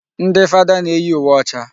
Ndị fada na-eyi uwe ọcha.